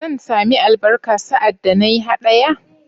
Zan sami albarka sa'ad da na yi haɗaya?